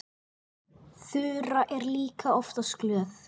Þura er líka oftast glöð.